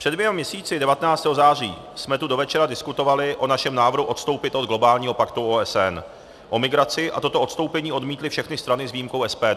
Před dvěma měsíci, 19. září, jsme tu do večera diskutovali o našem návrhu odstoupit od globálního paktu OSN o migraci a toto odstoupení odmítly všechny strany s výjimkou SPD.